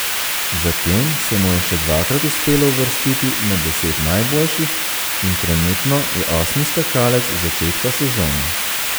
Zatem se mu je še dvakrat uspelo uvrstiti med deset najboljših in trenutno je osmi skakalec začetka sezone.